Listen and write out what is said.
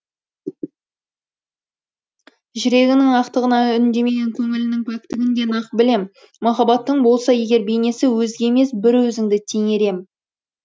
жүрегіңнің ақтығына үндемен көңіліннің пәктігін де нақ білем махаббаттың болса егер бейнесі өзге емес бір өзіңді теңер ем